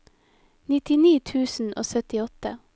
nittini tusen og syttiåtte